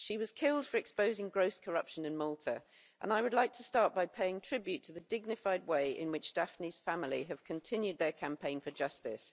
She was killed for exposing gross corruption in Malta, and I would like to start by paying tribute to the dignified way in which Daphne's family have continued their campaign for justice.